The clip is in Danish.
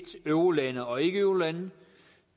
eurolande og ikkeeurolande